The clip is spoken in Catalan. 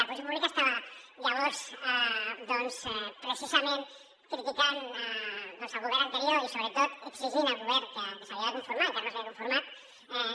la funció pública estava llavors doncs precisament criticant el govern anterior i sobretot exigint al govern que s’havia de conformar encara no s’havia conformat